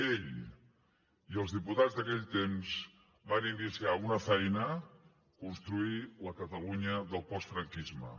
ell i els diputats d’aquell temps van iniciar una feina construir la catalunya del postfranquisme